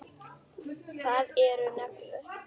Hvað eru neglur?